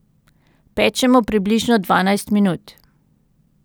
Pečemo približno dvanajst minut.